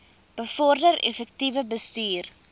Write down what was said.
bevorder effektiewe bestuur